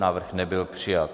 Návrh nebyl přijat.